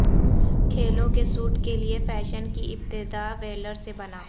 کھیلوں کے سوٹ کے لئے فیشن کی ابتدا ویلر سے بنا